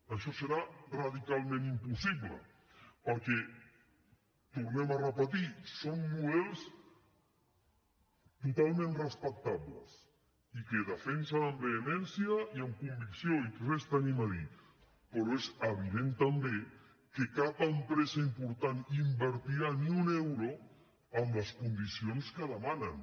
això serà radicalment impossible perquè ho tornem a repetir són models totalment respectables i que defensen amb vehemència i amb convicció i res tenim a dir hi però és evident també que cap empresa important invertirà ni un euro amb les condicions que demanen